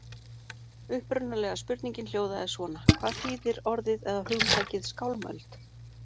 Upprunalega spurningin hljóðaði svona: Hvað þýðir orðið eða hugtakið skálmöld?